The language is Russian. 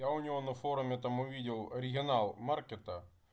я у него на форуме там увидел регионал маркета